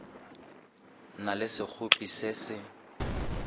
na le sekgopi se se